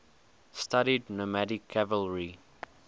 studied nomadic cavalry